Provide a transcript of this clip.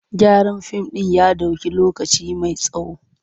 Gyaran fim ɗin ya ɗauki lokaci mai tsawo.